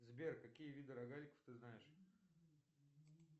сбер какие виды рогаликов ты знаешь